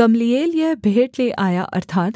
Gamaliel यह भेंट ले आया